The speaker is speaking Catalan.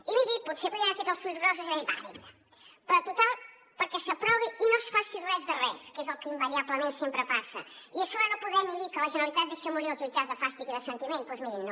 i mirin potser podíem haver fet els ulls grossos i dir va vinga però total perquè s’aprovi i no es faci res de res que és el que invariablement sempre passa i a sobre no poder ni dir que la generalitat deixa morir els jutjats de fàstic i de sentiment doncs mirin no